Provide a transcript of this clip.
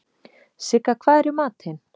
Sigga, hvað er í matinn?